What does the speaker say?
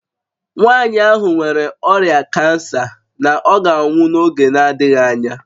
Nwanyị ahụ nwere ọrịa kansa na ọ ga-anwụ n'oge na-adịghị anya